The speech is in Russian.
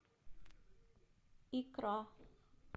икра